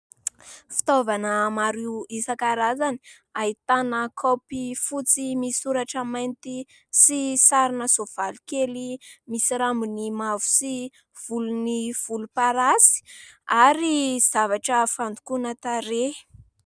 Fitaovana maro isan-karazany : ahitana kaopy fotsy misy soratra mainty sy sarina soavaly kely misy rabony mavo sy volony volomparasy ary zavatra fandokoana tarehy.